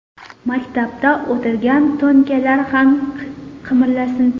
Maktabda o‘tirgan ‘to‘nkalar’ ham qimirlasin.